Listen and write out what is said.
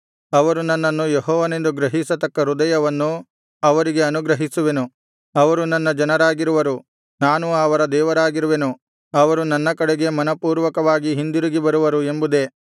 ಅವರು ನನ್ನನ್ನು ಯೆಹೋವನೆಂದು ಗ್ರಹಿಸತಕ್ಕ ಹೃದಯವನ್ನು ಅವರಿಗೆ ಅನುಗ್ರಹಿಸುವೆನು ಅವರು ನನ್ನ ಜನರಾಗಿರುವರು ನಾನು ಅವರ ದೇವರಾಗಿರುವೆನು ಅವರು ನನ್ನ ಕಡೆಗೆ ಮನಃಪೂರ್ವಕವಾಗಿ ಹಿಂದಿರುಗಿ ಬರುವರು ಎಂಬುದೇ